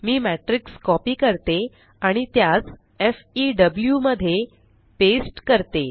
मी matrix copy करते आणि त्यास फेव मध्ये पेस्ट करते